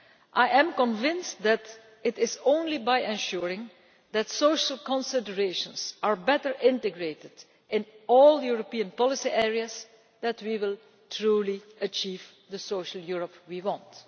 I am convinced that it is only by ensuring that social considerations are better integrated in all of the European policy areas that we can truly achieve the social Europe that we want.